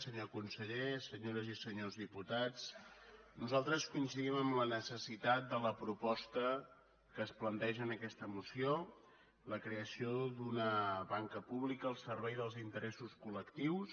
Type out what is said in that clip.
senyor conseller senyores i senyors diputats nosaltres coincidim en la necessitat de la proposta que es planteja en aquesta moció la creació d’una banca pública al servei dels interessos col·lectius